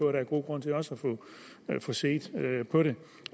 er god grund til at få set på det